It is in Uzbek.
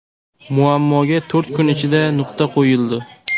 Muammoga to‘rt kun ichida nuqta qo‘yildi.